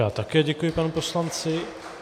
Já také děkuji panu poslanci.